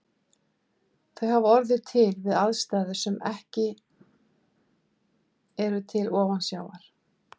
Þau hafa orðið til við aðstæður sem eru ekki til ofansjávar.